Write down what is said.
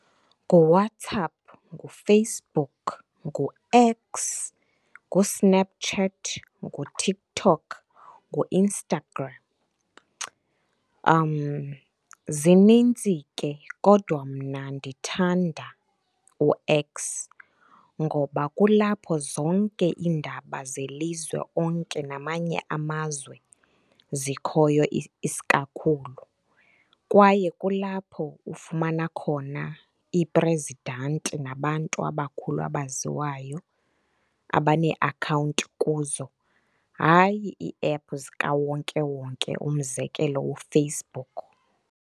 NguWhatsApp, nguFacebook, nguX, nguSnapchat, nguTiktok, nguInstagram, zininzi ke. Kodwa mna ndithanda uX, ngoba kulapho zonke iindaba zelizwe onke namanye amazwe zikhoyo isikakhulu. Kwaye kulapho ufumana khona iprezidanti nabantu abakhulu abaziwayo abaneeakhawunti kuzo, hayi ii-app zikawonkewonke, umzekelo uFacebook.